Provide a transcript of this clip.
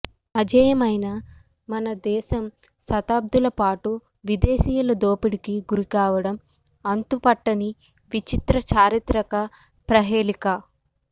అజేయమైన మన దేశం శతాబ్దులపాటు విదేశీయుల దోపిడీకి గురి కావడం అంతుపట్టని విచిత్ర చారిత్రక ప్రహేళిక